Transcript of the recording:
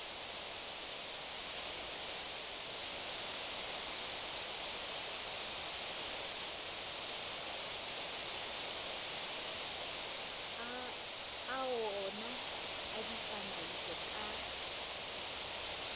a oona a ditsamaiso ka